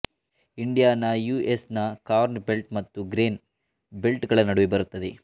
Indiana U S ನ corn belt ಮತ್ತು grain belt ಗಳ ನಡುವೆ ಬರುತ್ತದೆ